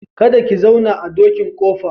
Kada ki zauna a dokin ƙofa.